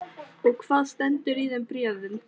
Og hvað stendur í þeim bréfum?